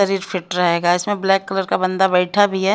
शरीर फिट रहेगा इसमें ब्लैक कलर का बंदा बैठा भी है।